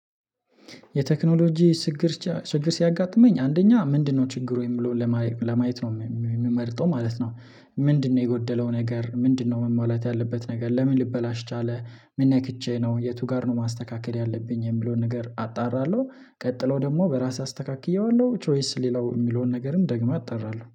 የቴክኖሎጂ ችግር ሲያጋጥመኝ አንደኛ ምንድነው ችግሩ የሚለውን ለማየት ነው የምመርጠው ማለት ነው። ምንድነው የጎደለው ነገር ምንድነው መሟላት ያለበት ነገር ለምን ልበላሽ ቻለ ምን ነክቼ ነው የቱ ጋር ነው ማስተካከል ያለብኝ የሚለውን ነገር አጣራለሁ። ቀጥለው ደግሞ በራሴ አስተካክየዋለሁ ወይስ ሌላው የሚለውን ነገርም ደግሜ አጠራለሁ